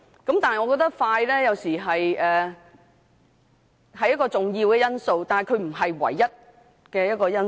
但是，我認為快速完成審議有時是重要的因素，但並非唯一因素。